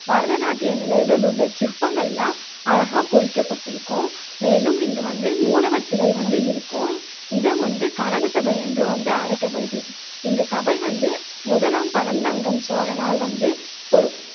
பரதநாட்டிய நிலைகளில உள்ள சிற்பங்கள் எல்லாம் அழகா பொறிக்கப்பட்டிருக்கும் மேலும் இங்கு வந்து மூலவர் சிலை வந்து இருக்கும், இடம் வந்து கனகசபை என்றும் வந்து அழைக்கப்படுது. இந்த சபை வந்து முதலாம் பராந்தகன் சோழனால் வந்து பொற்